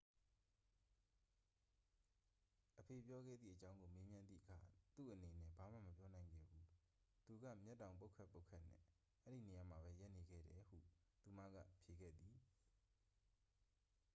"အဖေပြောခဲ့သည့်အကြောင်းကို မေးမြန်းသည့်အခါ "သူ့အနေနဲ့ ဘာမှ မပြောနိုင်ခဲ့ဘူး - သူက မျက်တောင်ပုတ်ခတ်ပုတ်ခတ်နဲ့ အဲဒီနေရာမှာပဲ ရပ်နေခဲ့တယ်" ဟု သူမက ဖြေခဲ့သည်။